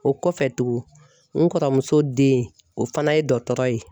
O kɔfɛ tugun n kɔrɔ muso den o fana ye dɔgɔtɔgɔ ye.